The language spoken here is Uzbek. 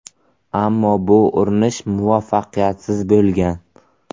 Ammo bu urinish muvaffaqiyatsiz bo‘lgan.